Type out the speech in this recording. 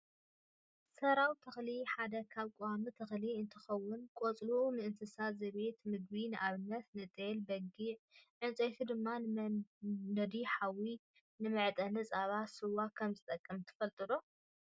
ሰራው ተክሊ ሓደ ካብ ቆዋሚ ተክሊ እንትከውን ቆፅሉ ንእንስሳ ዘቤት ምግቢ ንኣብነት ንጤሌበጊዕ ዕንፀይቱ ድማ ንመንደዲ ሓውን ንመዓጠኒ ፃባን ስዋን ከምዝጠቅም ትፈልጡ ዶ ?